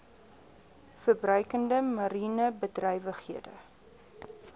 verbruikende mariene bedrywighede